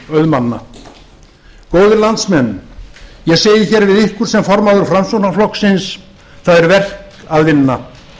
auðmanna ég segi hér við ykkur sem formaður framsóknarflokksins það er verk að vinna